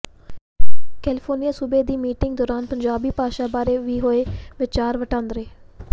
California ਸੂਬੇ ਦੀ meeting ਦੌਰਾਨ ਪੰਜਾਬੀ ਭਾਸ਼ਾ ਬਾਰੇ ਵੀ ਹੋਏ ਵਿਚਾਰ ਵਟਾਂਦਰੇ